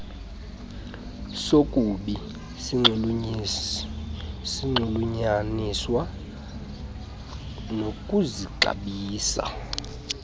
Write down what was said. sokubi sinxulunyaniswa nokuzixabisa